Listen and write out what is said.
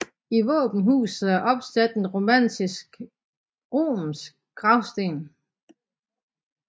I våbenhuset er opsat en romansk gravsten